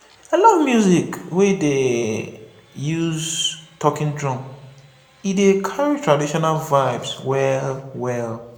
i love music wey dey use talking drum e dey carry traditional vibes well-well.